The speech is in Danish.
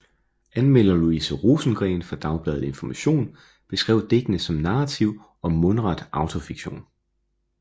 Anmelder Louise Rosengreen fra Dagbladet Information beskrev digtene som narrativ og mundret autofiktion